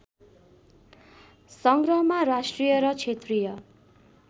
संग्रहमा राष्ट्रिय र क्षेत्रीय